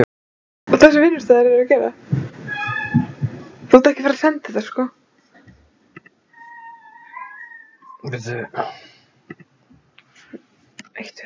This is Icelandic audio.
En mun eitthvað breytast eftir þessa sölu fyrir íslenskt markaðsstarf?